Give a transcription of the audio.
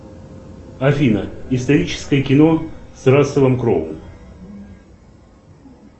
афина историческое кино с расселом кроу